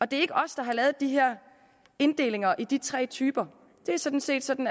det er ikke os der har lavet de her inddelinger i de tre typer det er sådan set sådan